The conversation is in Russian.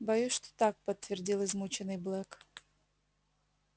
боюсь что так подтвердил измученный блэк